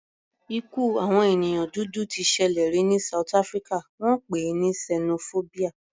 Ikú àwọn ènìyàn dúdú t ṣẹlẹ̀ rí ní south Africa, wọ́n pè é ní sẹnofóbíà.